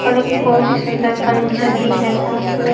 और एक बहुत ही सुंदर फर्नीचर भी है साथ मैं--